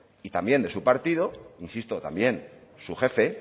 y también de su partido insisto también su jefe el